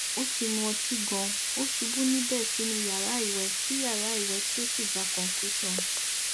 ó ti mu òtí ganan ó ṣubú níbẹ sínú yàrá ìwẹ tí yàrá ìwẹ tí ó sì gbà concussion